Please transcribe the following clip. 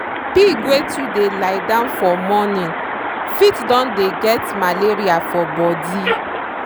pig wey too dey lie down for morning fit don dey get malaria for body.